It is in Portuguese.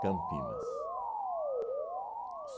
Campinas.